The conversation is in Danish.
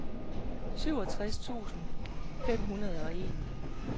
syvogtres tusind fem hundrede og en